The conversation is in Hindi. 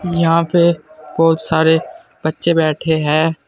यहां पे बहोत सारे बच्चे बैठे हैं।